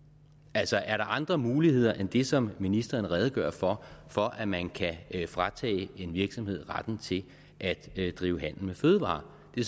altså er der andre muligheder end det som ministeren redegør for for at man kan fratage en virksomhed retten til at drive handel med fødevarer det